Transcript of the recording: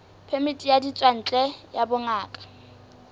phemiti ya ditswantle ya bongaka